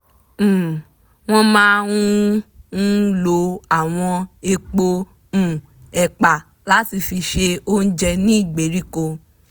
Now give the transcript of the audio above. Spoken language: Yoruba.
um wọ́n máa ń ń lo àwọn èèpo um ẹ̀pà láti fi se oúnjẹ ní ìgbèríko